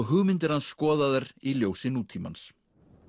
hugmyndir hans skoðaðar í ljósi nútímans